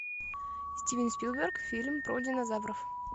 стивен спилберг фильм про динозавров